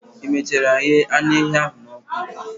i mechara ghee anu ehi a n'oku?